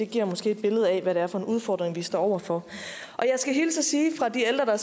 giver måske et billede af hvad det er for en udfordring vi står over for jeg skal hilse og sige fra de ældre der